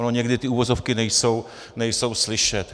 Ono někdy ty uvozovky nejsou slyšet.